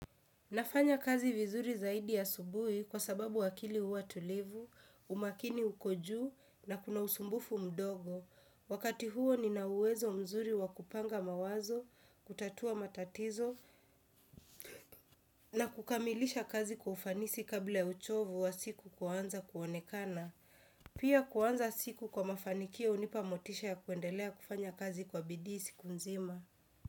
Nafanya kazi vizuri zaidi asubuhi kwa sababu akili huwa tulivu, umakini uko juu na kuna usumbufu mdogo. Wakati huo nina uwezo mzuri wa kupanga mawazo, kutatua matatizo na kukamilisha kazi kwa ufanisi kabla ya uchovu wa siku kuanza kuonekana. Pia kuanza siku kwa mafanikio hunipa motisha ya kuendelea kufanya kazi kwa bidii siku nzima.